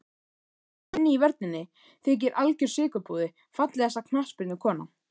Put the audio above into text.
Gunni í vörninni þykir algjör sykurpúði Fallegasta knattspyrnukonan?